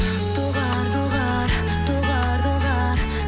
доғар доғар доғар доғар